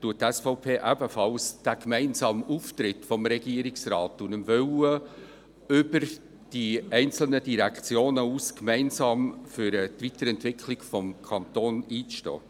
Die SVP begrüsst ebenfalls den gemeinsamen Auftritt des Regierungsrates und den Willen, über die einzelnen Direktionen hinaus gemeinsam für die Weiterentwicklung des Kantons einzustehen.